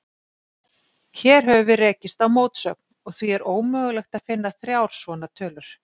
Hér höfum við rekist á mótsögn, og því er ómögulegt að finna þrjár svona tölur.